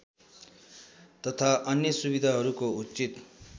तथा अन्य सुविधाहरूको उचित